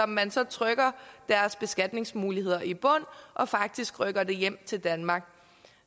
man så trykker deres beskatningsmuligheder i bund og faktisk rykker det hjem til danmark